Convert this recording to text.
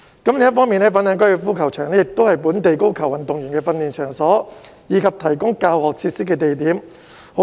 另一方面，粉嶺高爾夫球場亦是本地高爾夫球運動員的訓練場所，以及提供教學設施的地點。